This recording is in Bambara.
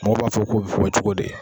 Mɔgɔw b'a fɔ k'o bɛ fɔ cogo di.